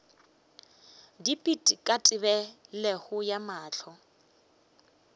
dipit ka tebelego ya mahlo